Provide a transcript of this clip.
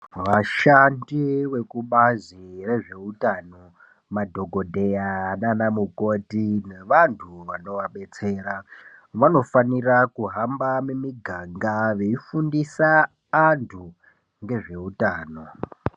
Vashandi vekubazi rezveutano madhongodheya nanamukoti nevantu vano vabetsera vanofanire kuhamba mumiganga veifundise antu ngezvehutano .